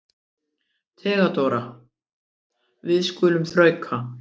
THEODÓRA: Við skulum þrauka.